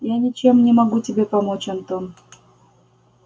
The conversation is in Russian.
я ничем не могу тебе помочь антон